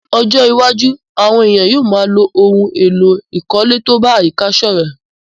Ní ojó iwájú, àwon èèyàn yio má a ló oun èló ìkólé to ba àyíká sòrẹ́